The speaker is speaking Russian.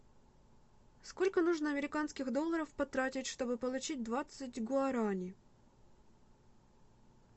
сколько нужно американских долларов потратить чтобы получить двадцать гуарани